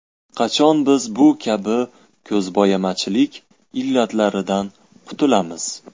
Qachon biz bu kabi ko‘zbo‘yamachilik illatlaridan qutulamiz?